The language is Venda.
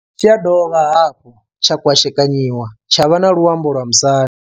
Tshi ya dovha hafhu tsha kwashekanyiwa tsha vha na luambo lwa musanda.